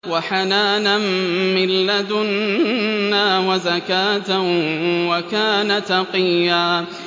وَحَنَانًا مِّن لَّدُنَّا وَزَكَاةً ۖ وَكَانَ تَقِيًّا